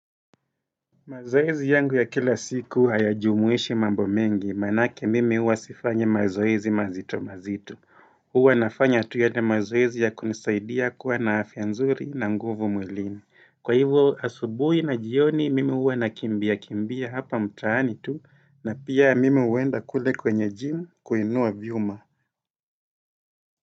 Mazoezi yangu ya kila siku haya jumuishi mambo mengi manake mimi huwa sifanyi mazoezi mazito mazito huwa nafanya tu yale mazoezi ya kunisaidia kuwa na afya nzuri na nguvu mwilini Kwa hivyo asubui na jioni mimi huwa nakimbia kimbia hapa mtaani tu na pia mimi huenda kule kwenye gym kuinua vyuma.